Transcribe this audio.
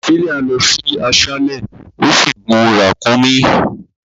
Priscilla lọ sí aṣálẹ̀, ò sì gun ràkúnmí.